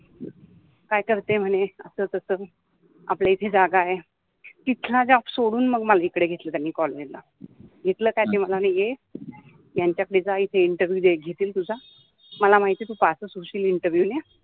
काय करते म्हने अस तस आपल्या इथे जागा आहे तिथला जॉब सोडुन मग मला इकडे घेतल कॉलेज ला इथल काय मनाले ते ये यांच्यात मि जायचि, इंटरव्युव दे घेतिल तुजा मला माहिति आहे तु पासच होशिन इंटरव्युव ने